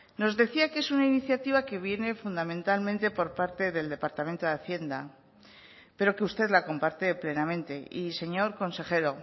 nos decía que es una iniciativa que viene fundamentalmente por parte del departamento de hacienda pero que usted la comparte plenamente y señor consejero